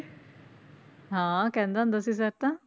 ਹਾਂ ਕਹਿੰਦਾ ਹੁੰਦਾ ਸੀ sir ਤਾਂ